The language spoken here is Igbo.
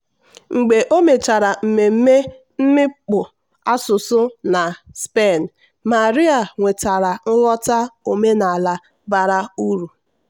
"mgbe o mechara mmemme mmikpu asụsụ na spain maria nwetara nghọta omenala bara uru."